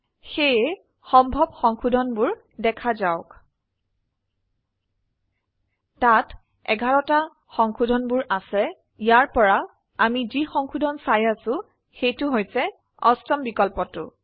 সেয়ে সম্ভব সংশোধন বোৰ দেখা যাওক তাত 11 টা সংশোধনবোৰ আছে ইয়াৰ পৰা আমি যি সংশোধন চাই আছো সেই টো হৈছে অষ্টম বিকল্পটো